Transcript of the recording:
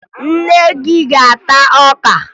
Nne gị a ga-ata ọka na ube?